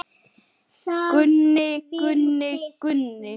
Gunni, Gunni, Gunni.